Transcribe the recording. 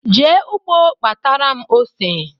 Jee ụgbọ kpatara m ose